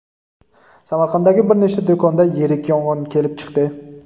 Samarqanddagi bir nechta do‘konda yirik yong‘in kelib chiqdi.